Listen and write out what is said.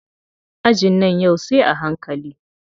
Ajin nan yau sai a hankali.